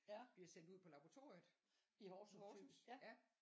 Bliver sendt ud på laboratoriet i Horsens ja